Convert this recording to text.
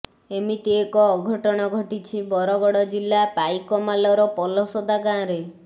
ଏମିତି ଏକ ଅଘଟଣ ଘଟିଛି ବରଗଡ଼ ଜିଲ୍ଲା ପାଇକମାଲର ପଲସଦା ଗାଁରେ